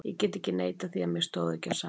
Ég get ekki neitað því að mér stóð ekki á sama.